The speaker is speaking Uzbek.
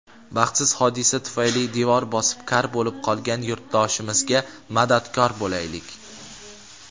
Baxtsiz hodisa tufayli devor bosib kar bo‘lib qolgan yurtdoshimizga madadkor bo‘laylik!.